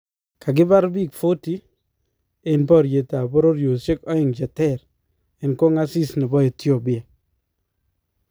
Kakibaar biik 40 en baryeetab bororyosyeek aeng cheteer en koong'asis nebo Ethiopia